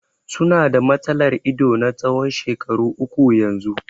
Su na da matsalar ido na tsawon shekaru uku yanzu.